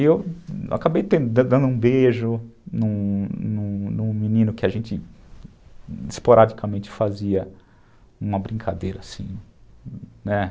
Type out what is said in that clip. E eu acabei dando um beijo num num num menino que a gente esporadicamente fazia uma brincadeira assim, né?